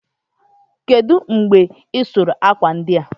kedụ mgbe ị sụrụ akwa ndị a?